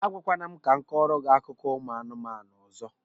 A gwakwala m ka m kọrọ gị akụkọ ụmụ anụmanụ ọzọ!